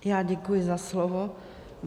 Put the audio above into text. Já děkuji za slovo.